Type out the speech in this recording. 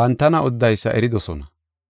bantana odidaysa eridosona.